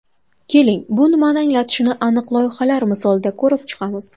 Keling, bu nimani anglatishini aniq loyihalar misolida ko‘rib chiqamiz.